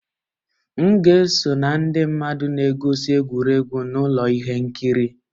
M ga-eso na ndị mmadụ na-egosi egwuregwu na ụlọ ihe nkiri.